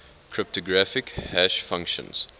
cryptographic hash functions